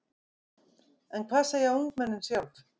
En hvað segja ungmennin sjálf?